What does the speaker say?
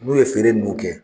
N'o ye feere nun kɛ